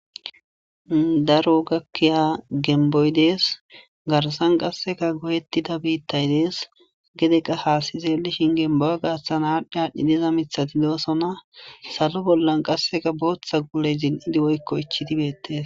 Daro gakkiya gembboy des. Garssan qassekka goyetida biitay des. Gede qas haasi xeelishin gembuwa gidon aadhi aadhi diza miththati doosona. Salo ballan qassekka booththa guule zin7idi woykko ichchidi beetees.